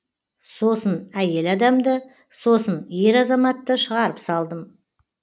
сосын әйел адамды сосын ер азаматты шығарып салдым